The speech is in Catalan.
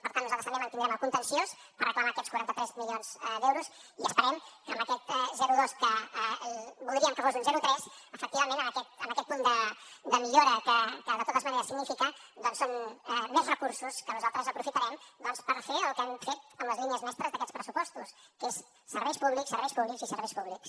per tant nosaltres també mantindrem el contenciós per reclamar aquests quatre cents i quaranta tres milions d’euros i esperem que amb aquest zero coma dos que voldríem que fos un zero coma tres efectivament amb aquest punt de millora que de totes maneres significa que són més recursos que nosaltres aprofitarem per fer el que hem fet amb les línies mestres d’aquests pressupostos que és serveis públics serveis públics i serveis públics